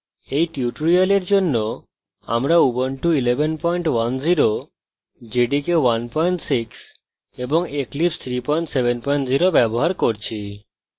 এই tutorial জন্য আমরা